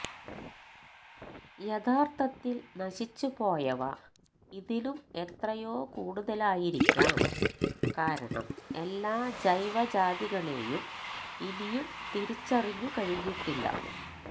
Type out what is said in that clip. യഥാർത്ഥത്തിൽ നശിച്ചുപോയവ ഇതിലും എത്രയോ കൂടുതലായിരിക്കാം കാരണം ഏല്ലാ ജൈവജാതികളെയും ഇനിയും തിരിച്ചറിഞ്ഞു കഴിഞ്ഞിട്ടില്ല